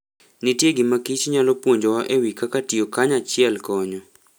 Nitie gima Kich nyalo puonjowa e wi kaka tiyo kanyachiel konyo.